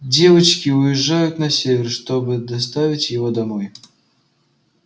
девочки уезжают на север чтобы доставить его домой